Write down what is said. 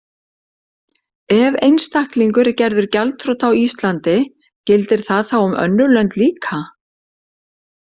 Ef einstaklingur er gerður gjaldþrota á Íslandi gildir það þá um önnur lönd líka?